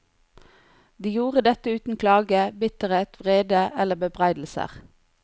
De gjorde dette uten klage, bitterhet, vrede eller bebreidelser.